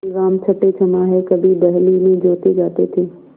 बैलराम छठेछमाहे कभी बहली में जोते जाते थे